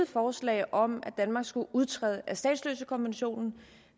forslag om at danmark skulle udtræde af statsløsekonventionen